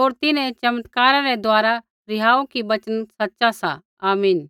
होर तिन्हैं चमत्कारा रै द्वारा रिहाऊ कि वचना सच़ा सा आमीन